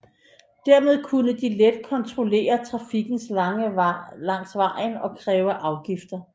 Dermed kunne de let kontrollere trafikken langs vejen og kræve afgifter